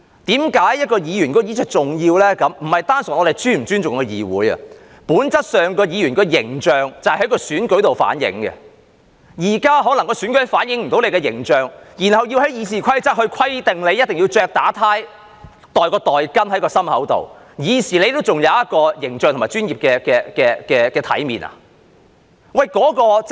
問題不單純在於我們是否尊重議會，本質上，議員的形象可以從選舉上反映，但現在選舉可能無法反映議員的形象，於是要從《議事規則》規定議員一定要打領帶或放袋巾在胸前，以示議員還有形象和專業的體面，是這樣嗎？